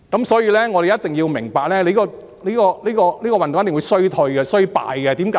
所以，我們必須明白，這個運動一定會衰敗，為甚麼呢？